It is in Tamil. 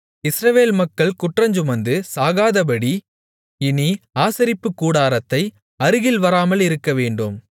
இஸ்ரவேல் மக்கள் குற்றஞ்சுமந்து சாகாதபடி இனி ஆசரிப்புக் கூடாரத்தைக் அருகில் வராமலிருக்க வேண்டும்